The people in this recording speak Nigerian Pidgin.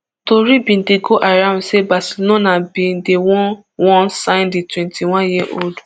tori bin dey go around say barcelona bin dey wan wan sign di twenty-one years old